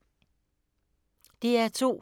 DR2